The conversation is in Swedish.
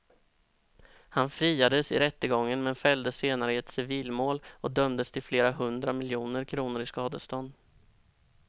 Han friades i rättegången men fälldes senare i ett civilmål och dömdes till flera hundra miljoner kronor i skadestånd.